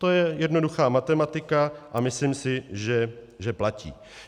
To je jednoduchá matematika a myslím si, že platí.